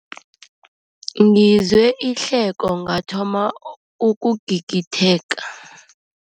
Ngizwe ihleko ngathoma ukugigitheka.